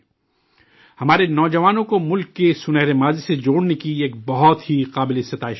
ہمارے نوجوانوں کو ملک کے سنہرے ماضی سے جوڑنے کی یہ بہت ہی قابل تعریف کوشش ہے